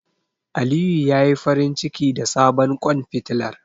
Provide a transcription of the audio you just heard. Aliyu ya yi farinciki da sabon ƙwan fitilar.